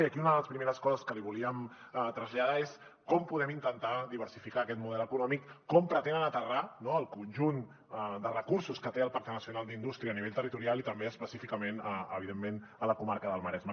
i aquí una de les primeres coses que li volíem traslladar és com podem intentar diversificar aquest model econòmic com pretenen aterrar el conjunt de recursos que té el pacte nacional per a la indústria a nivell territorial i també específicament evidentment a la comarca del maresme